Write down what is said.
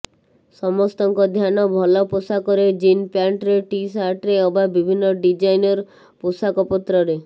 ସମସ୍ତଙ୍କ ଧ୍ୟାନ ଭଲ ପୋଷାକରେ ଜିନ୍ ପ୍ୟାଣ୍ଟରେ ଟି ସାର୍ଟରେ ଅବା ବିଭିନ୍ନ ଡିଜାଇନ୍ର ପୋଷାକପତ୍ରରେ